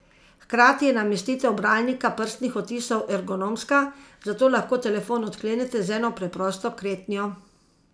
Hkrati je namestitev bralnika prstnih odtisov ergonomska, zato lahko telefon odklenete z eno preprosto kretnjo.